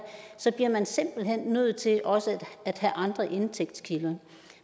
så bliver man simpelt hen nødt til at også have andre indtægtskilder